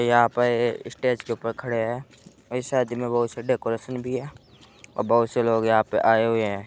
यहां पर स्टेज के ऊपर खड़े हैं इस शादी में बोहत सी डेकोरेशन भी है और बोहत से लोग यहाँ पर आये हुए हैं।